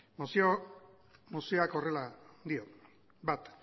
mozioak horrela dio bat